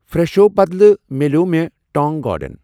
فرٛٮ۪شو بدلہٕ مِلٮ۪و مےٚ ٹانٛگ گارڈن۔